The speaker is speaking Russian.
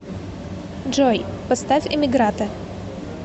джой поставь эмигратэ